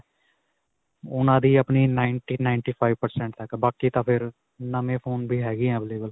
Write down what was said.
ਉਨ੍ਹਾਂ ਦੀ ਆਪਣੀ ninety-ninety five percent ਹੈ ਬਾਕੀ ਤਾਂ ਫਿਰ ਨਵੇ ਫੋਨ ਵੀ ਹੈਗੇ ਹੈ available.